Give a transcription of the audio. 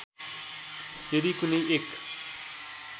यदि कुनै एक